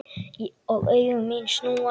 Og augu mín snúast.